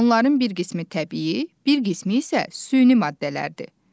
Onların bir qismi təbii, bir qismi isə süni maddələrdir.